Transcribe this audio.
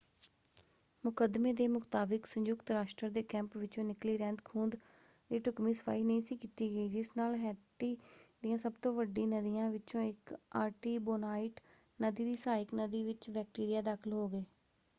ਮੁਕੱਦਮੇ ਦੇ ਮੁਤਾਬਕ ਸੰਯੁਕਤ ਰਾਸ਼ਟਰ ਦੇ ਕੈਂਪ ਵਿੱਚੋਂ ਨਿੱਕਲੀ ਰਹਿੰਦ-ਖੂਹੰਦ ਦੀ ਢੁਕਵੀਂ ਸਫਾਈ ਨਹੀਂ ਸੀ ਕੀਤੀ ਗਈ ਜਿਸ ਨਾਲ ਹੈਤੀ ਦੀਆਂ ਸਭ ਤੋਂ ਵੱਡੀ ਨਦੀਆਂ ਵਿੱਚੋਂ ਇੱਕ ਆਰਟੀਬੋਨਾਈਟ ਨਦੀ ਦੀ ਸਹਾਇਕ ਨਦੀ ਵਿੱਚ ਬੈਕਟੀਰੀਆ ਦਾਖਲ ਹੋ ਗਏ।